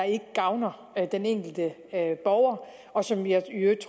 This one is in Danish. ikke gavner den enkelte borger og som jeg i øvrigt